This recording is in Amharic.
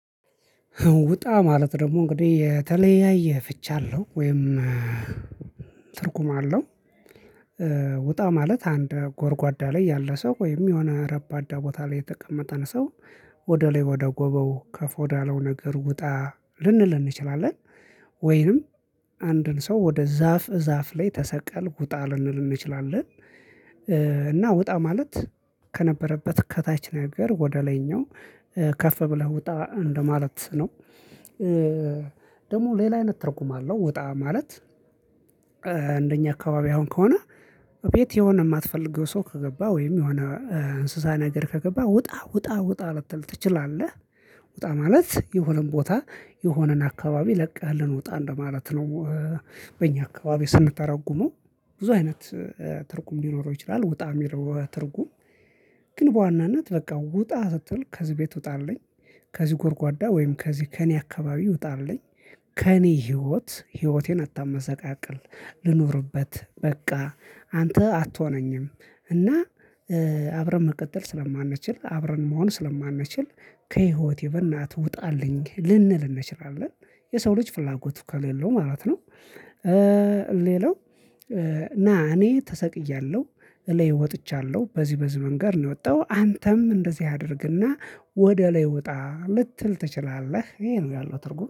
ውጣ ማለት ደግሞ እንግዲህ የተለያየ ፍቻ አለው ወይም ትርጉም አለው። ውጣ ማለት አንድ ጎርጓዳ ላይ ያለ ሰው ወይም የሆነ ረባዳ ቦታ ላይ የተቀመጠን ሰው ወደ ላይ ወደ ጎባው ከፍ ወዳለው ነገር ውጣ ልንል እንችላለን። ወይንም አንድን ሰው ወደ ዛፍ ዛፍ ላይ ተሰቀል ውጣ ልንል እንችላለን። እና ውጣ ማለት ከነበረበት ከታች ነገር ወደ ላይኛው ከፍ ብለህ ውጣ እንደማለት ነው። ደግሞ ሌላ አይነት ትርጉም አለው ውጣ ማለት እንደኛ አካባቢ አሁን ከሆነ። እቤት የሆነ የማትፈልገው ሰው ከገባ ወይም የሆነ እንስሳ ነገር ከገባ ውጣ ውጣ ውጣ ልትል ትችላለህ። ውጣ ማለት የሆነን ቦታ የሆነን አካባቢ ለቀህልን ውጣ እንደማለት ነው። በእኛ አካባቢ ስንተረጉመው ብዙ አይነት ትርጉም ሊኖረው ይችላል። ውጣ የሚለው ትርጉም ግን በዋናነት በቃ ውጣ ስትል ከዚህ ቤት ውጣአለኝ። ከዚህ ጎርጓዳ ወይም ከዚህ ከእኔ አካባቢ ዉጣልኝ። ከእኔ ህይወት ህይወቴን አታመሰቃቅል ልኑርበት በቃ አንተ አትሆነኝም። እና አብረን መቀጠል ስለማንችል አብረን መሆን ስለማንችል ከህይወቴ በእናትህ ውጣልኝ ልንል እንችላለን። የሰው ልጅ ፍላጎቱ ከሌለው ማለት ነው። ሌላው እና እኔ ተሰቅያለሁ እለይ ወጥቻለሁ በዚህ መንገድ ነው የወጣው። አንተም እንደዚህ አድርግና ወደ ላይ ዉጣ ልትል ትችላለህ ይሄ ነው ያለው ትርጉም